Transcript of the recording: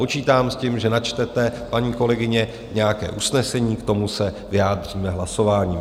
Počítám s tím, že načtete, paní kolegyně, nějaké usnesení, k tomu se vyjádříme hlasování.